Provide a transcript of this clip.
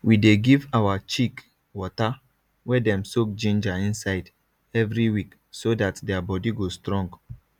we dey give our chick water wey dem soak ginger inside every week so dat their body go strong